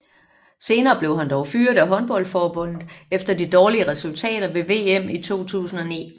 Senere blev han dog fyret af håndboldforbundet efter de dårlige resultater ved VM 2009